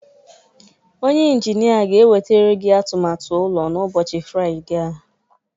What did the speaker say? Onye Injinia ga-ewetara gị atụmatụ ụlọ n'ụbọchị Fraịde a